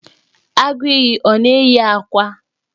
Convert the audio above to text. Agụiyi ọ na-eyi akwa?